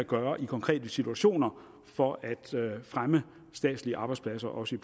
gøre i konkrete situationer for at fremme statslige arbejdspladser også